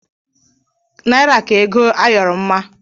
Naira ka ego ayọrọ mma